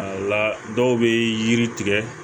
La dɔw bɛ yiri tigɛ